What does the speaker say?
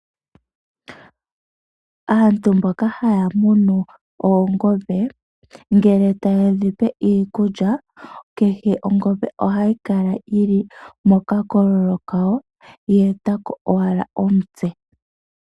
Aantu mboka haya munu oongombe ngele taye dhipe iikulya kehe ongombe ohayi kala yili mokakololo kawo yeta ko owala omutse.